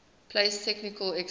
place technical experts